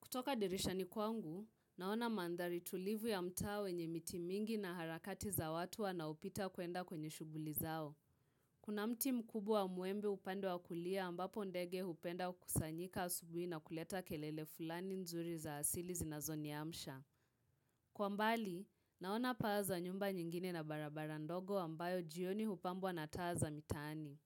Kutoka dirishani kwangu, naona mandhari tulivu ya mtaa wenye miti mingi na harakati za watu wanaopita kuenda kwenye shughuli zao. Kuna mti mkubwa wa mwembe upande wa kulia ambapo ndege hupenda kusanyika asubuhi na kuleta kelele fulani nzuri za asili zinazoniamsha. Kwa mbali, naona paa za nyumba nyingine na barabara ndogo ambayo jioni hupambwa na taa za mitaani.